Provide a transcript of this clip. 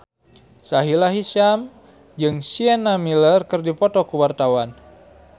Sahila Hisyam jeung Sienna Miller keur dipoto ku wartawan